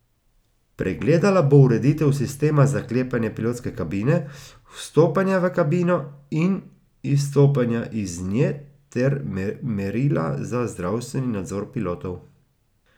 Pregledala bo ureditev sistema zaklepanja pilotske kabine, vstopanja v kabino in izstopanja iz nje ter merila za zdravstveni nadzor pilotov.